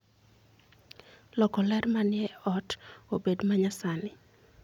loko ler manie ot obed manyasani